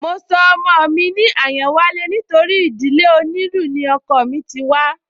Mo sọ ọmọ mi ní Àyánwálé nítorí ìdílé onílù ni ọkọọ̀ mí ti wá